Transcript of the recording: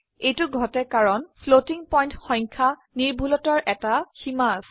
এইটো ঘটে কাৰণ ফ্লোটিং পইন্ট সংখ্যা নিৰ্ভুলতাৰ এটা সীমা আছে